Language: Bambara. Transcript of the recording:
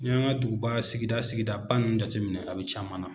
N'i y'an ka duguba sigida sigidaba ninnu jateminɛ a bɛ caman na